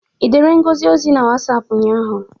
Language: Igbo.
I dere Ngozi ozi na Wasapụ ụnyaahụ?